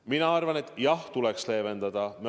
Mina arvan, et jah, tuleks leevendada.